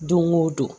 Don o don